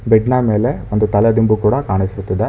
Bed ನ ಮೇಲೆ ಒಂದು ತಲೆದಿಂಬು ಕೂಡ ಕಾಣಿಸುತ್ತಿದೆ.